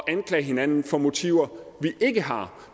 at anklage hinanden for motiver vi ikke har